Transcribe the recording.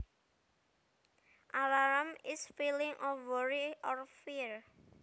Alarm is a feeling of worry or fear